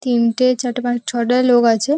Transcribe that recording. তিনটে চারটে পাঁচ ছটা লোক আছে।